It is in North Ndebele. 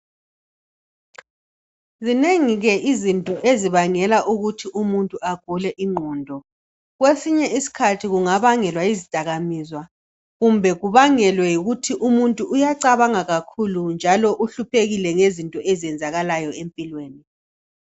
Zinengi ke izinto ezibangela ukuthi umuntu agule ingqondo. Kwesinye isikhathi kungabangelwa yizidakamizwa kumbe kubangelwe yikuthi umuntu uyacabanga kakhulu njalo uhluphekile ngezinto ezenzalala empilweni.